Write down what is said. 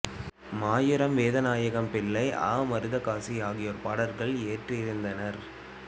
மாயூரம் வேதநாயகம் பிள்ளை அ மருதகாசி ஆகியோர் பாடல்களை இயற்றியிருந்தனர்